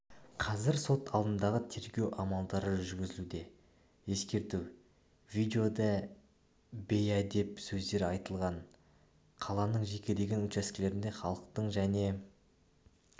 қазір сот алдындағы тергеу амалдары жүргізілуде ескерту видеода бейәдеп сөздер айтылған қаланың жекелеген учаскелерінде халықтың және